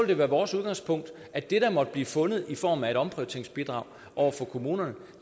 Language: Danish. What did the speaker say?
det være vores udgangspunkt at det der måtte blive fundet i form af et omprioriteringsbidrag over for kommunerne